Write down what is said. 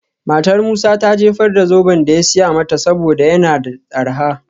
Matar Musa ta jefar da zoben da ya siya mata saboda yana da arha.